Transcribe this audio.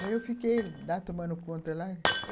Daí eu lá fiquei tomando conta lá.